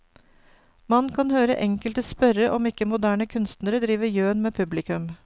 Man kan høre enkelte spørre om ikke moderne kunstnere driver gjøn med publikum.